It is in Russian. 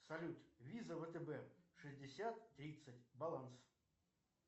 салют виза втб шестьдесят тридцать баланс